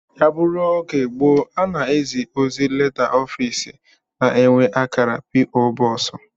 Ya bụrụ oge gboo a na-ezi ozi leta, ofiisi na-enwe akara p. o. Box